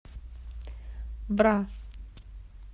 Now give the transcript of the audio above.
бра